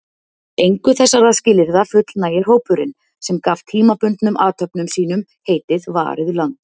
Engu þessara skilyrða fullnægir hópurinn, sem gaf tímabundnum athöfnum sínum heitið Varið land.